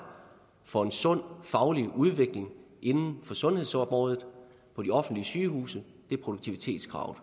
for en sund faglig udvikling inden for sundhedsområdet og de offentlige sygehuse er produktivitetskravet